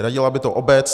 Hradila by to obec?